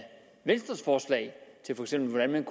venstres forslag til hvordan man